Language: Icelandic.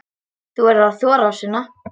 Þú verður að þora, Sunna.